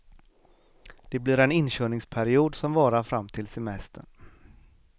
Det blir en inkörningsperiod som varar fram till semestern.